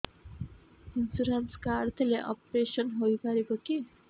insurance card ଥିଲେ operation ହେଇପାରିବ କି